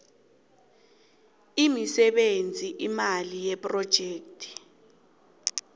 imisebenzi imali yephrojekhthi